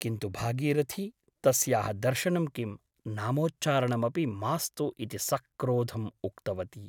किन्तु भागीरथी तस्याः दर्शनं किं , नामोच्चारणमपि मास्तु इति सक्रोधम् उक्तवती ।